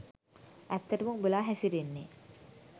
ඇත්තටම උඹලා හැසිරෙන්නෙ